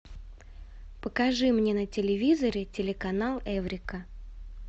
покажи мне на телевизоре телеканал эврика